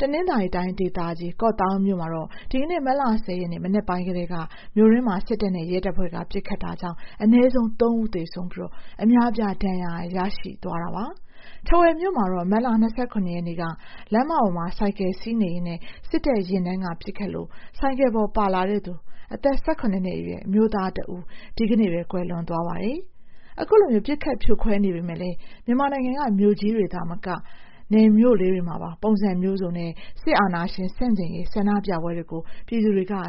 တနင်္သာရီတိုင်းဒေသကြီး ကော့သောင်းမြို့မှာလည်း ဒီက မတ်လ ၃၀ ရက် မနက်ပိုင်းကတည်းက မြို့တွင်းမှာ စစ်တပ်နဲ့ ရဲတပ်ဖွဲ့က ပစ်ခတ်တာကြောင့် အနည်းဆုံး ၃ ဦးသေဆုံးပြီး အများအပြား ဒဏ်ရာရရှိတယ်လို့ မြို့ခံတွေကပြောပါတယ်။ ထားဝယ်မြို့မှာတော့ မတ်လ ၂၇ ရက်နေ့က လမ်းမပေါ်မှာ ဆိုင်ကယ်စီးနေရင်း စစ်တပ်ယာဉ်တန်းက ပစ်ခတ်လို့ ဆိုင်ကယ်ပေါ်ပါလာသူ အသက် ၁၇ နှစ်အရွယ်အမျိုးသားတစ်ဦး ဒီကနေ့ ကွယ်လွန်သွားပါတယ်။ ခုလို ပစ်ခတ်ဖြိုခွဲနေပေမဲ့လည်း မြန်မာနိုင်ငံက မြို့ကြီးတွေမှာသာမက မြို့လေးတွေမှာလည်း ပုံစံမျိုးစုံနဲ့ စစ်အာဏာရှင် ဆန့်ကျင်ရေး ဆန္ဒပြပွဲတွေကို ပြည်သူတွေ ဆက်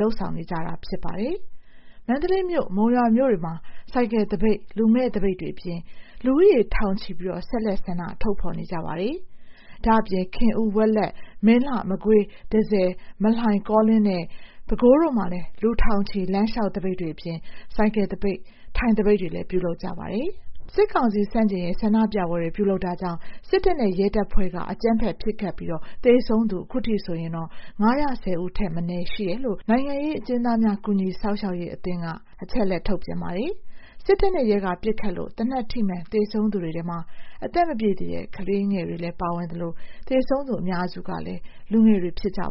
လုပ်နေကြဆဲဖြစ်ပါတယ်။ မန္တလေးမြို့၊ မုံရွာမြို့တွေမှာ ဆိုင်ကယ် သပိတ်၊ လူမဲ့ သပိတ်တွေအပြင် လူဦးရေ ထောင်ချီပြီး ဆက်လက် ဆန္ဒထုတ်ဖော်နေကြပါတယ်။ ဒါ့အပြင် ခင်ဦး၊ ဝက်လက်၊ မင်းလှ၊ မကွေး၊ တန့်ဆည်၊ မလှိုင်၊ ကောလင်းနဲ့ ပဲခူးတို့မှာလည်း လူထောင်ချီ လမ်းလျှောက်သပိတ်တွေအပြင် ဆိုင်ကယ်သပိတ်၊ အထိုင်သပိတ်တွေလည်း ပြုလုပ်ကြပါတယ်။ စစ်ကောင်စီ ဆန့်ကျင်ရေး ဆန္ဒပြပွဲတွေ ပြုလုပ်တာကြောင့် စစ်တပ်နဲ့ ရဲတပ်ဖွဲ့က ပစ်ခတ်တာကြောင့် သေဆုံးသူ ၅၁၀ ထက်မနည်း ရှိတယ်လု့ိ နိုင်ငံရေး အကျဉ်းသားများ ကူညီစောင့်ရှောက်ရေး အသင်းက ထုတ်ပြန်ထားပါတယ်။ စစ်တပ်နဲ့ ရဲက ပစ်ခတ်လို့ သေနတ်ထိမှန် သေဆုံးသူတွေထဲမှာ အသက်မပြည့်သေးတဲ့ ကလေးငယ်တွေ ပါဝင်သလို သေဆုံးသူ အများစုကလည်း လူငယ်တွေ ဖြစ်ကြပါ